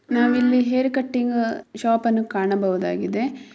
ನಾವು ಇಲ್ಲಿ hair cutting shop ಅನ್ನು ಕಾಣಬಹುದಾಗಿದೆ .